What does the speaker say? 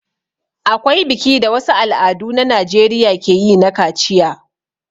Akwai biki da wasu al'adu a najeriya ke yi na kaciya.